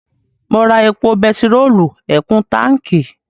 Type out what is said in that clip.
Mo ra epo bẹtiróòlù ẹ̀kún táǹkí.